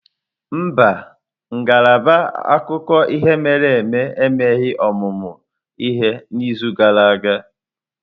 Mba, ngalaba akụkọ ihe mere eme emeghị ọmụmụ ihe n'izu gara aga.